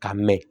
Ka mɛn